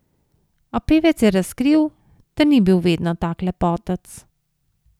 A pevec je razkril, da ni bil vedno tak lepotec.